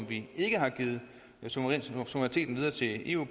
vi ikke har givet suveræniteten videre til eu